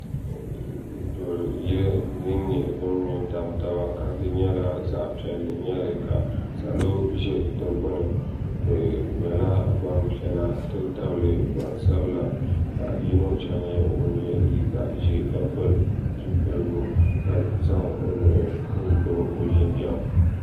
duri yili din nyɛ din mɛntabi taba di nyɛla zaɣ piɛli nyɛli ka salo ʒɛ di gbani be nyɛla gbapiɛlla n ti tabili gba sabila paɣ' yino chɛ nyɛ ŋɔ yɛ liga sabilinli la pɛli zibiligu ka zaŋ o nuhi gbabi o jinjam